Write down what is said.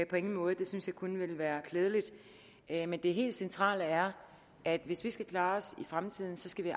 på ingen måde det synes jeg kun ville være klædeligt men det helt centrale er at hvis vi skal klare os i fremtiden skal vi